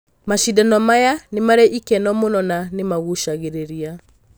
Macindano maya nĩmarĩ ikeno mũno na nĩmagucagĩrĩria.